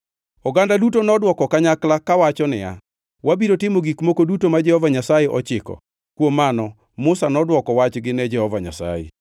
Oganda duto nodwoko kanyakla kawacho niya, “Wabiro timo gik moko duto ma Jehova Nyasaye ochiko.” Kuom mano Musa nodwoko wachgi ne Jehova Nyasaye.